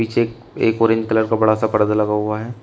पीछे एक एक बोरिंग कलर का पर्दा लगा हुआ है।